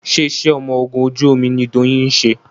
ṣe iṣé ọmọ ògún ojú omí ní Doyin ṣe?